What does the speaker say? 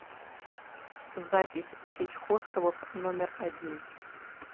запись сеть хостелов номер один